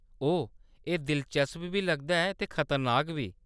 ओह्‌‌, एह्‌‌ दिलचस्प बी लगदा ऐ ते खतरनाक बी।